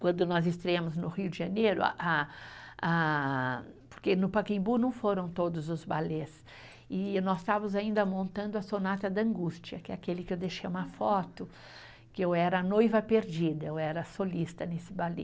Quando nós estreamos no Rio de Janeiro, a a a, porque no Pacaembu não foram todos os balés, e nós estávamos ainda montando a Sonata da Angústia, que é aquele que eu deixei uma foto, que eu era a noiva perdida, eu era a solista nesse balé.